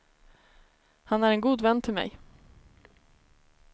Han är en god vän till mig.